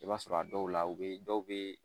I b'a sɔrɔ a dɔw la u be dɔw be